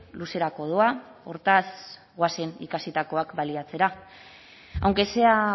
luzerako doa hortaz goazen ikasitakoak baliatzera aunque sea